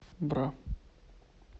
бра